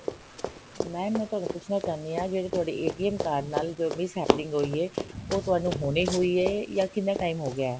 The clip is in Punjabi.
mam ਮੈਂ ਤੁਹਾਨੂੰ ਪੁੱਛਣਾ ਚਾਹੁੰਦੀ ਹਾਂ ਜਿਹੜੇ ਤੁਹਾਡੇ card ਨਾਲ ਜੋ miss happening ਹੋਈ ਹੈ ਉਹ ਤੁਹਾਨੂੰ ਹੁਣੀ ਹੋਈ ਹੈ ਜਾ ਕਿੰਨਾ time ਹੋ ਗਿਆ